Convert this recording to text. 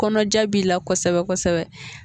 Kɔnɔja b'i la kosɛbɛ kosɛbɛ.